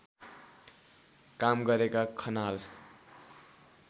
काम गरेका खनाल